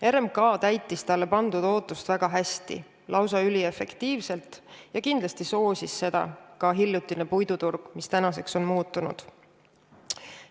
RMK täitis talle pandud ootust väga hästi, lausa üliefektiivselt, ja kindlasti soosis seda ka hiljutine puiduturg, mis tänaseks on muutunud.